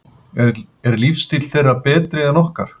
Er lífstíll þeirra betri en okkar?